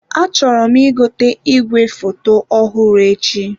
Achọrọ m ị gote igwefoto ọhụrụ echi.